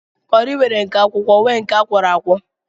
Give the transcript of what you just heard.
Kọri nwere nke akwụkwọ nwee nke akwọro akwọ